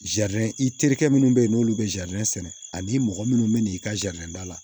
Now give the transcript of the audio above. i terikɛ minnu bɛ yen n'olu bɛ sɛnɛ ani mɔgɔ minnu bɛ na i ka da la